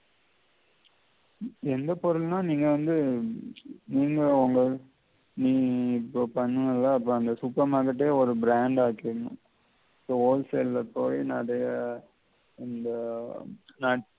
என்ன பொறுள்னா? நீங்க வந்து நீ இப்ப பன்னுவேலே அப்ப அந்த super market ஏ ஒரு brand ஆக்க ஏழும் so all sell எ போயி நெறைய அந்த நான்